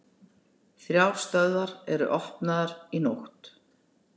Þrjár stöðvar voru opnaðar í nótt